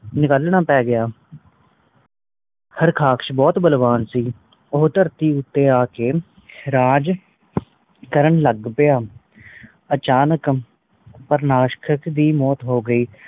ਨਿਕਲਣਾ ਪੈ ਗਯਾ ਹਾਰਕਾਸ਼ ਬਹੁਤ ਬਲਵਾਨ ਸੀ ਓ ਧਰਤੀ ਉਤੇ ਆਕੇ ਰਾਜ ਕਾਰਨ ਲੱਗ ਪਯਾ ਅਚਾਨਕ ਪ੍ਰਨਾਕਾਸ਼ ਦੀ ਮੌਤ ਹੋ ਗਈ